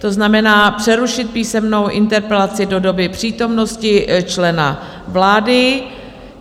To znamená přerušit písemnou interpelaci do doby přítomnosti člena vlády.